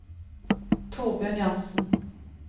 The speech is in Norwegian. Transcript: Torbjørn Jansen